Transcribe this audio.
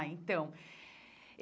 Ah, então.